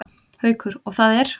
Haukur: Og það er?